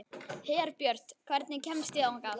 Herbjört, hvernig kemst ég þangað?